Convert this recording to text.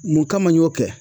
Mun kama n y'o kɛ?